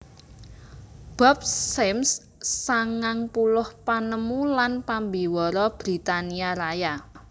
Bob Symes sangang puluh panemu lan pambiwara Britania Raya